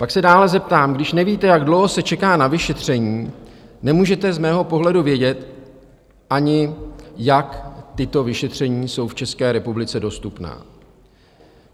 Pak se dále zeptám, když nevíte, jak dlouho se čeká na vyšetření, nemůžete z mého pohledu vědět ani, jak tato vyšetření jsou v České republice dostupná.